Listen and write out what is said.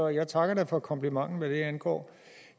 jeg takker da for komplimenten hvad det angår